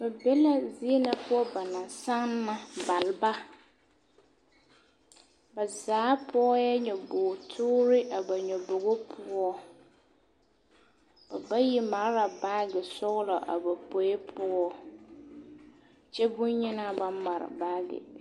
Ba be la zie na poɔ na ba naŋ sanna baleba ba zaa pɔgɛɛ nyɔbogi toore a ba nyobobo poɔ ba bayi mare la baagi sɔgelɔ a ba pue poɔ kyɛ bonyenaa ba mare baagi.